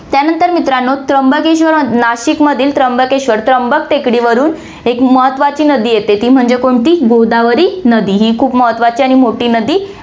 त्यानंतर मित्रांनो, त्र्यंबकेश्वर नाशिकमधील त्र्यंबकेश्वर, त्र्यंबक टेकडीवरुन एक महत्वाची नदी येते, ती म्हणजे कोणती गोदावरी नदी, ही खूप महत्वाची आणि मोठी नदी